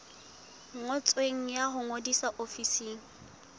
ngotsweng ya ho ngodisa ofising